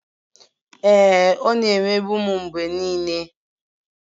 Ee, ọ na-emegbu m mgbe niile